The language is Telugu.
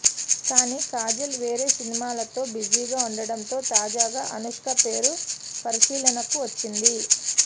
కానీ కాజల్ వేరే సినిమాలతో బిజీగా ఉండడంతో తాజాగా అనుష్క పేరు పరిశీలనకు వచ్చింది